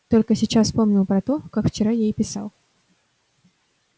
только сейчас вспомнил про то как вчера ей писал